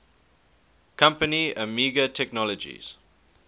company amiga technologies